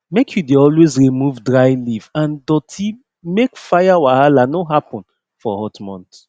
make u dey always remove dry leaf and doti make fire wahala no happen for hot month